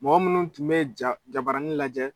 Mɔgɔ minnu tun bɛ ja jabaranin lajɛ.